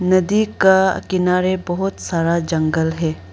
नदी का किनारे बहुत सारा जंगल है।